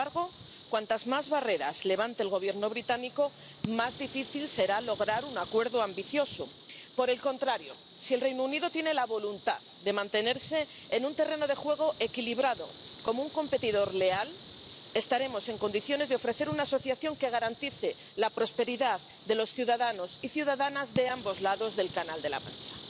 Sin embargo, cuantas más barreras levante el Gobierno británico, más difícil será lograr un acuerdo ambicioso. Por el contrario, si el Reino Unido tiene la voluntad de mantenerse en un terreno de juego equilibrado como un competidor leal, estaremos en condiciones de ofrecer una asociación que garantice la prosperidad de los ciudadanos y ciudadanas de ambos lados del Canal de la Mancha.